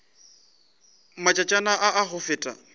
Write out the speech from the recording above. matšatšana a a go feta